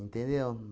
Entendeu?